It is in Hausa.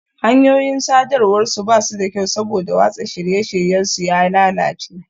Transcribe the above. Hanyoyin sadarwar su ba su da kyau saboda watsa shirye-shiryen su ya lalace